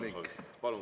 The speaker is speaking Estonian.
Palun!